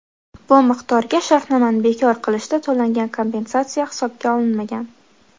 Bu miqdorga shartnomani bekor qilishda to‘langan kompensatsiya hisobga olinmagan.